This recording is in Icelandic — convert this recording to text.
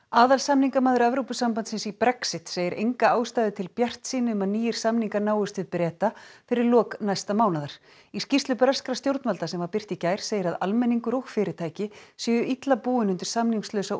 aðalsamningamaður Evrópusambandsins í Brexit segir enga ástæðu til bjartsýni um að nýir samningar náist við Breta fyrir lok næsta mánaðar í skýrslu breskra stjórnvalda sem birt var í gær segir að almenningur og fyrirtæki séu illa búin undir samningslausa